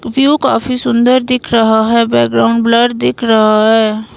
View काफी सुंदर दिख रहा है बैकग्राउंड ब्लर दिख रहा है।